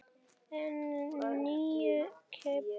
En nýi Kiddi.